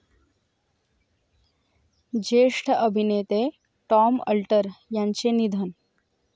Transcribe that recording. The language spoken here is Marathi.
ज्येष्ठ अभिनेते टॉम अल्टर यांचे निधन